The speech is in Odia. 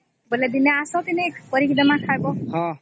ବୋଲେ ଦିନେ ଆସ ଦିନେ କରିକି ଦମା ଖାଇବା